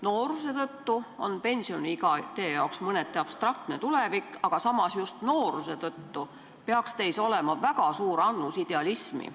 Nooruse tõttu on pensioniiga teile mõneti abstraktne tulevik, aga samas peaks just nooruse tõttu teis olema väga suur annus idealismi.